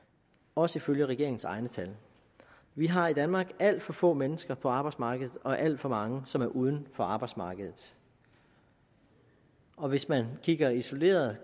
også ifølge regeringens egne tal vi har i danmark alt for få mennesker på arbejdsmarkedet og alt for mange som er uden for arbejdsmarkedet og hvis man kigger isoleret